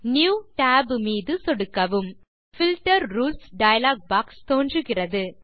new Tab மீது சொடுக்கவும் filter rules dialog box தோன்றுகிறது